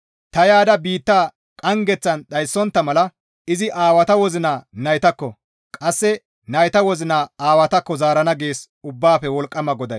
«Ta yaada biitta qanggeththan dhayssontta mala izi aawata wozina naytakko, qasse nayta wozina aawatakko zaarana» gees Ubbaafe Wolqqama GODAY.